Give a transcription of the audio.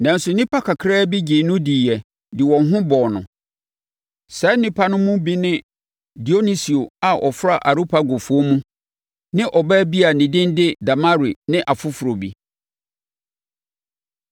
Nanso, nnipa kakra bi gyee no diiɛ de wɔn ho bɔɔ no. Saa nnipa no mu bi ne Dionisio a ɔfra Areopagofoɔ mu ne ɔbaa bi a ne din de Damari ne afoforɔ bi.